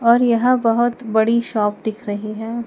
और यह बहोत बड़ी शॉप दिख रहीं हैं।